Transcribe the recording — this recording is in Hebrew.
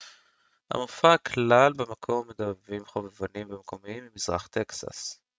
המופע כלל במקור מדבבים חובבניים ומקומיים ממזרח טקסס